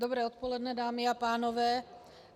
Dobré odpoledne, dámy a pánové.